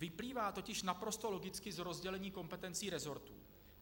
Vyplývá totiž naprosto logicky z rozdělení kompetencí resortů.